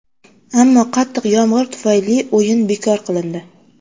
Ammo qattiq yomg‘ir tufayli o‘yin bekor qilindi.